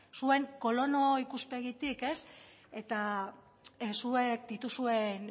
zuen kolono ikuspegitik ez eta zuek dituzuen